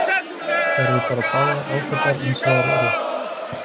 Þær eru bara báðar ágætar eins og þær eru.